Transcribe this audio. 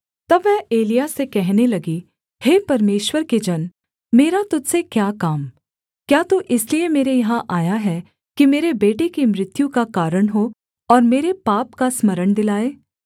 तब वह एलिय्याह से कहने लगी हे परमेश्वर के जन मेरा तुझ से क्या काम क्या तू इसलिए मेरे यहाँ आया है कि मेरे बेटे की मृत्यु का कारण हो और मेरे पाप का स्मरण दिलाए